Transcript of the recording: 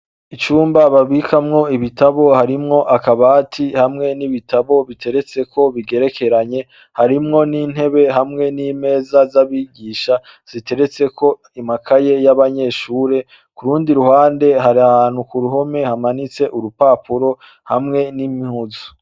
Icumba babikamwo ibitabo harimwo akabati hamwe n'ibitabo biteretseko bigerekeranye harimwo n'intebe hamwe nimeza z'abigisha ziteretseko amakaye yabanyeshuri, kururundi ruhande harahantu k'uruhome rumanitseko urupapupo hamwe n'impuzu.